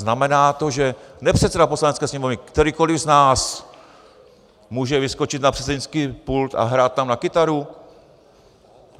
Znamená to, že nepředseda Poslanecké sněmovny, kterýkoli z nás, může vyskočit na předsednický pult a hrát tam na kytaru?